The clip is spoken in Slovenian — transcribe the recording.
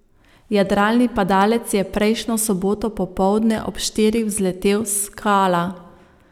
Jadralni padalec je prejšnjo soboto popoldne ob štirih vzletel s Kala.